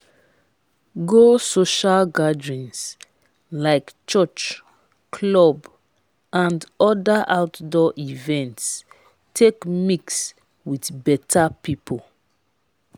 go social gatherings like church club and other outdoor events take mix with better pipo